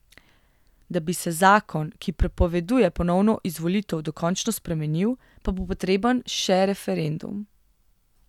Da bi se zakon, ki prepoveduje ponovno izvolitev dokončno spremenil, pa bo potreben še referendum.